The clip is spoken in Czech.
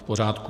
V pořádku.